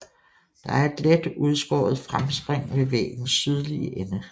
Der er et let udskåret fremspring ved væggens sydlige ende